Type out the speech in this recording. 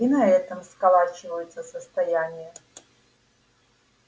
и на этом сколачиваются состояния